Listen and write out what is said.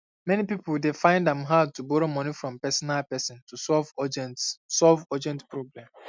many pipo dey fine am hard to borrow moni from personal person to solve urgent solve urgent problem